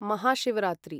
Mahashivratri